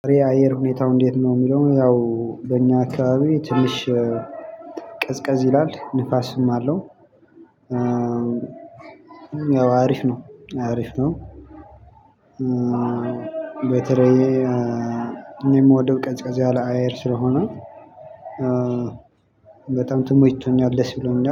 የአየር ሁኔታው እንዴት ነው የሚለው ያው በእኛ አካባቢ ትምህርት ቀዝቀዝ ይላል ንፋስም አለው። ያው አሪፍ ነው አሪፍ ነው። በተለየ እኔ የምወደው ቀዝቀዝ ያለ አየር ስለሆነ። በጣም ተመችቶኛል ደስ ብሎኛል